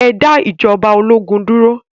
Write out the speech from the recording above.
Ẹ dá ijọba ológun dúró!